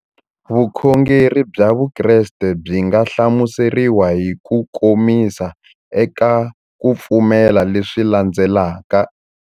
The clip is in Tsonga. Vukhongeri bya Vukreste byi nga hlamuseriwa hi kukomisa eka ku pfumela leswi landzelaka.